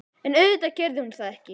En auðvitað gerði hún það ekki.